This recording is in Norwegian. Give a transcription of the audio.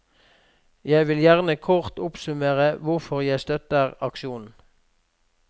Jeg vil gjerne kort oppsummere hvorfor jeg støtter aksjonen.